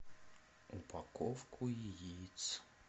упаковку яиц